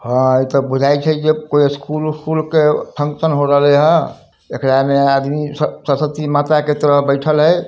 हां ई ते बुझाय छे जे कोई स्कूल उस्कुल के फंक्शन हो रहल है एकरा में आदमी स-सरस्वती माता के तरह बैठल हय।